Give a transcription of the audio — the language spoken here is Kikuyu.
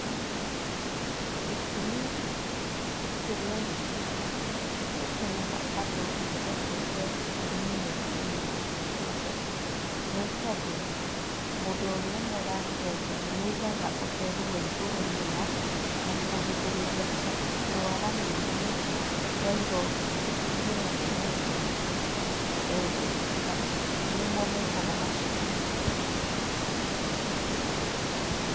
Gĩtũmi kĩrĩa gĩtũmaga andũ mende kwenjwo njuĩrĩ nĩ mũndũ ũmwe hĩndĩ ciothe, nĩ tondũ mũndũ ũmwe ũrĩa ũrakwenja nĩ aigaga ũtheru wa igũrũ mũno na kũrigĩrĩria kũrwara mĩrimũ ya ironda iria igĩaga mũndũ enjwo nĩmo metagwo maciringi.